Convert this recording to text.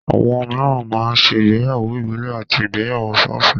Àwọn mìíràn máa ń ṣe ìgbéyàwó ìbílè àti ìgbéyàwó sọ́ọ̀sì.